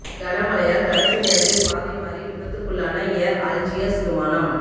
கன மழையால் கடைசி நேரத்தில் பாதை மாறி விபத்துக்குள்ளான ஏர் அல்ஜியர்ஸ் விமானம்